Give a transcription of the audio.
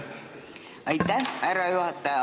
Aitäh, härra juhataja!